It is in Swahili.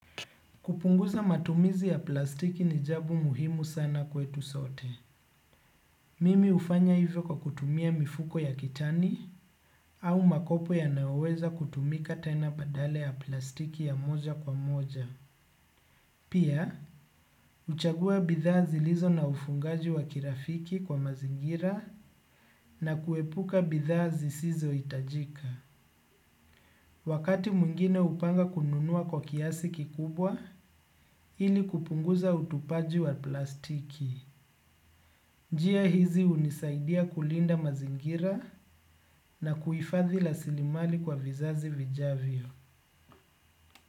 Kupunguza matumizi ya plastiki ni jambo muhimu sana kwetu sote. Mimi hufanya hivyo kwa kutumia mifuko ya kitani au makopo yanayoweza kutumika tena badala ya plastiki ya moja kwa moja. Pia, huchagua bidhaa zilizo na ufungaji wa kirafiki kwa mazingira na kuepuka bidhaa zisizo itajika. Wakati mwingine hupanga kununua kwa kiasi kikubwa ili kupunguza utupaji wa plastiki. Njia hizi unisaidia kulinda mazingira na kuifadhi rasilimali kwa vizazi vijavio.